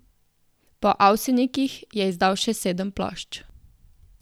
Po Avsenikih je izdal še sedem plošč.